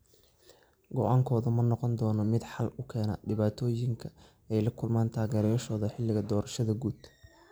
Go’aankoodu ma noqon doonaa mid xal u keena dhibaatooyinka ay la kulmaan taageerayaashooda xilliga doorashada guud?